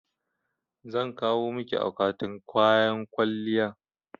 Zan kawo maki akwatin kayan kwalliyan